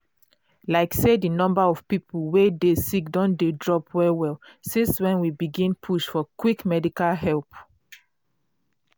like say di number of people wey dey sick don dey drop well well since when we begin push for quick medical help.